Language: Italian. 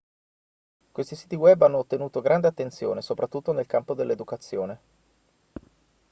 questi siti web hanno ottenuto grande attenzione soprattutto nel campo dell'educazione